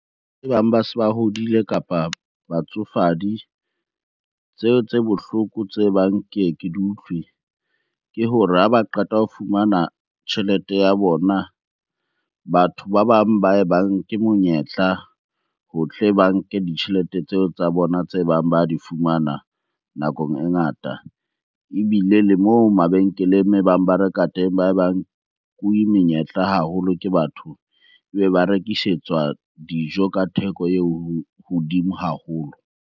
E bang ba se ba hodile, kapa batsofadi tseo tse bohloko tse bang ke ye ke di utlwe. Ke hore ha ba qeta ho fumana tjhelete ya bona, batho ba bang ba ba nke monyetla ho tle ba nke ditjhelete tseo tsa bona tse bang ba di fumana nakong e ngata. Ebile le moo mabenkeleng ba reka teng ba bang nkuwe menyetla haholo ke batho be ba rekisetswa dijo ka theko e hodimo haholo.